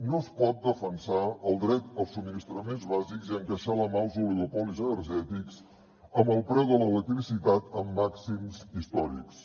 no es pot defensar el dret als subministraments bàsics i encaixar la mà als oligopolis energètics amb el preu de l’electricitat en màxims històrics